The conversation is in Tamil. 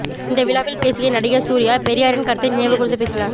இந்த விழாவில் பேசிய நடிகர் சூர்யா பெரியாரின் கருத்தை நினைவு கூர்ந்து பேசினார்